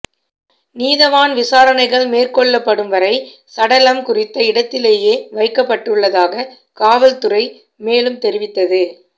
நீதவான் விசாரணைகள் மேற்கொள்ளப்படும் வரை சடலம் குறித்த இடத்திலேயே வைக்கப்பட்டுள்ளதாக காவற்துறை மேலும் தெரிவித்தது